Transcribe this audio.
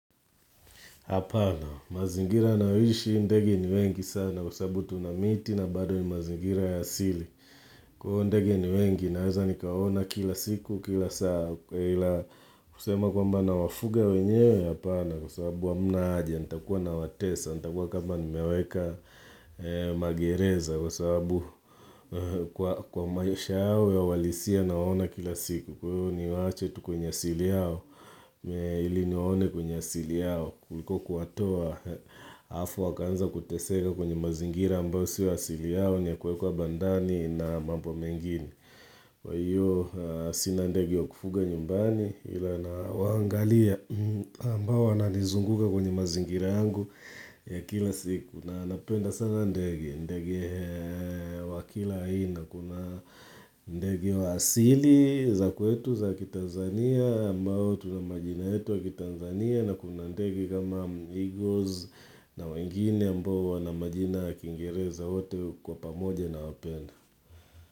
Hapana, mazingira nayoishi ndege ni wengi sana kwa sabu tuna miti na bado ni mazingira ya sili. Kwa iyo ndege ni wengi naweza nikaona kila siku kila saa. Kwa hila kusema kwamba nawafuga wenyewe. Hapana kwa sabu hamna aja, nitakuwa nawatesa, nita kuwa kamba nimeweka magereza kwa sabu kwa maisha yao ya ualisia naona kila siku. Kwa hiyo ni waache tu kwenye asili yao, ili niwaone kwenye asili yao kuliko kuwatoa, hafu wakanza kuteseka kwenye mazingira ambao siyo asili yao ni ya kuekwa bandani na mambo mengini Kwa hiyo sina ndege wa kufuga nyumbani ila nawangalia ambao ananizunguka kwenye mazingira yangu ya kila siku, na napenda sana ndege, ndegi wakila aina na kuna ndege wa asili za kwetu za kitanzania ambao tuna majina yetu wa kitanzania na kuna ndege kama eagles na wengine ambao wana majina ya kingereza wote kwa pamoja na wapena.